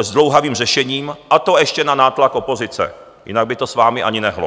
zdlouhavým řešením, a to ještě na nátlak opozice, jinak by to s vámi ani nehnulo.